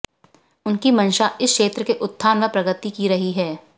उनकी मंशा इस क्षेत्र के उत्थान व प्रगति की रही है